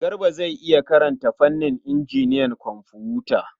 Garba zai iya karanta fannin injiniyan kwamfuta?